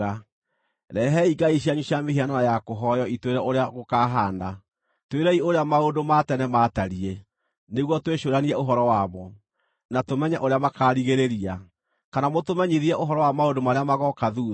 “Rehei ngai cianyu cia mĩhianano ya kũhooywo itwĩre ũrĩa gũkaahaana. Twĩrei ũrĩa maũndũ ma tene maatariĩ, nĩguo twĩcũũranie ũhoro wamo, na tũmenye ũrĩa makaarigĩrĩria. Kana mũtũmenyithie ũhoro wa maũndũ marĩa magooka thuutha,